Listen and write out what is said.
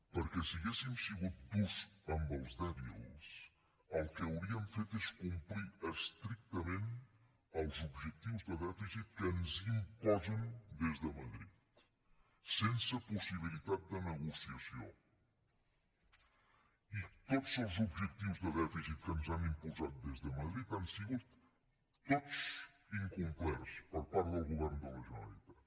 perquè si haguéssim sigut durs amb els dèbils el que hauríem fet és complir estrictament els objectius de dèficit que ens imposen des de madrid sense possibilitat de negociació i tots els objectius de dèficit que ens han imposat des de madrid han sigut tots incomplerts per part del govern de la generalitat